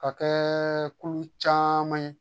Ka kɛ kulu caman ye